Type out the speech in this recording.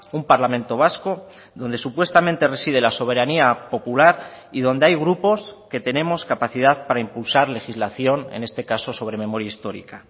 un parlamento vasco donde supuestamente reside la soberanía popular y donde hay grupos que tenemos capacidad para impulsar legislación en este caso sobre memoria histórica